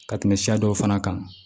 Ka tɛmɛ siya dɔw fana kan